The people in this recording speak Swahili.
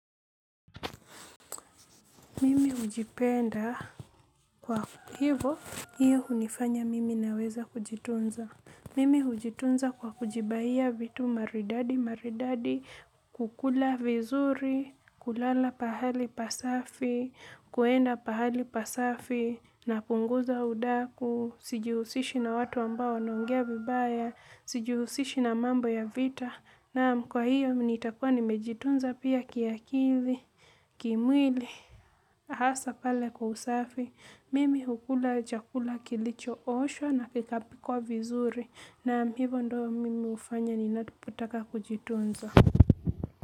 Mimi hujipenda kwa hivyo hiyo hunifanya mimi naweza kujitunza mimi hujitunza kwa kujibaia vitu maridadi maridadi. Kukula vizuri, kulala pahali pasafi, kuenda pahali pasafi. Napunguza udaku, sijihusishi na watu ambao wanaongea vibaya, sijihusishi na mambo ya vita. Naam kwahiyo nitakua nimejitunza pia ki akili kimwili, hasa pale kwa usafi, mimi hukula chakula kilicho oshwa na kikapikwa vizuri naam hivyo ndio mimi hufanya ninapotaka kujifunza.